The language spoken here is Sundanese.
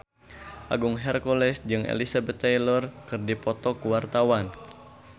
Agung Hercules jeung Elizabeth Taylor keur dipoto ku wartawan